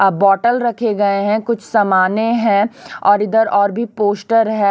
अ bottle रखे गए हैं कुछ सामाने है और इधर और भी पोस्टर है।